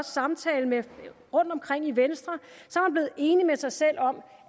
samtaler rundtomkring i venstre blevet enig med sig selv om